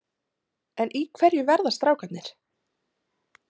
En í hverju verða strákarnir?